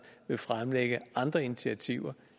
vil fremlægge andre initiativer